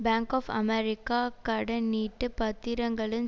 bank of America கடனீட்டுப் பத்திரங்களின்